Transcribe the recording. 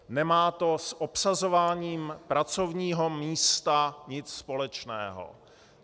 Nemá to s obsazováním pracovního místa nic společného.